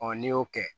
n'i y'o kɛ